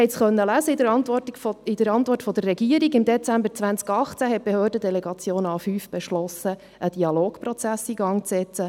Sie konnten in der Antwort der Regierung lesen, dass die Behördendelegation A5 im Dezember 2018 beschlossen hat, einen Dialogprozess in Gang zu setzen.